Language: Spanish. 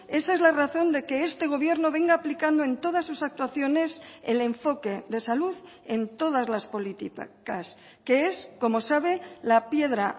esa es la razón de que este gobierno venga aplicando en todas sus actuaciones el enfoque de salud en todas las políticas que es como sabe la piedra